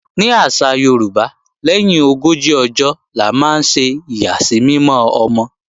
Ní àṣà Yorùbá, lẹ́yìn ogójì ọjọ́ la máa ń ṣe ìyàsímímọ́ ọmọ